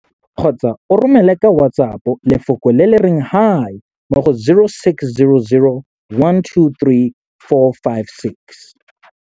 kgotsa o romele ka WhatsApp lefoko le le reng 'Hi' mo go 0600 123 456.